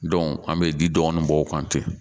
an bɛ ji dɔgɔnin bɔ o kan ten